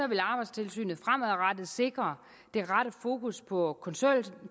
vil arbejdstilsynet fremadrettet sikre det rette fokus på